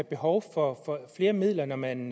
behov for flere midler når man